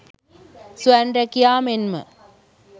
ස්වයං රැකියා මෙන්ම